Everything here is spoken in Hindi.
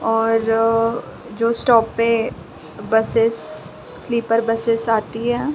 और जो स्टॉप पे बसेस् स्लीपर बसेस् आती हैं।